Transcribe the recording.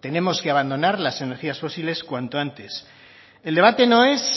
tenemos que abandonar las energías fósiles cuanto antes el debate no es